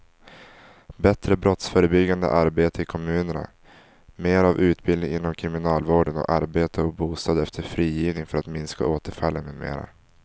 Bättre brottsförebyggande arbete i kommunerna, mera av utbildning inom kriminalvården och arbete och bostad efter frigivningen för att minska återfallen med mera.